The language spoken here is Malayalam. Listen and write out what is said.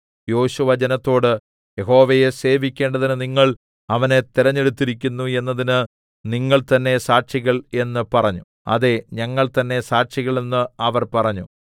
യോശുവ ജനത്തോട് യഹോവയെ സേവിക്കേണ്ടതിന് നിങ്ങൾ അവനെ തെരഞ്ഞെടുത്തിരിക്കുന്നു എന്നതിന് നിങ്ങൾ തന്നേ സാക്ഷികൾ എന്ന് പറഞ്ഞു അതേ ഞങ്ങൾ തന്നേ സാക്ഷികൾ എന്ന് അവർ പറഞ്ഞു